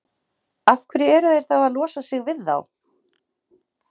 Af hverju eru þeir þá að losa sig við þá?